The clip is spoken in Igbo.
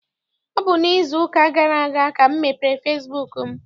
Ọ bụ n'izu ụka gara aga ka m mepere fesibuuku m.